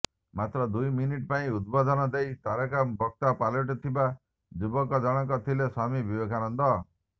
ମାତ୍ର ଦୁଇ ମିନିଟ ପାଇଁ ଉଦବୋଧନ ଦେଇ ତାରକା ବକ୍ତା ପାଲଟିଥିବା ଯୁବକ ଜଣକ ଥିଲେ ସ୍ବାମୀ ବିବେକାନନ୍ଦ